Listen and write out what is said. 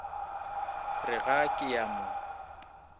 re ga ke a mo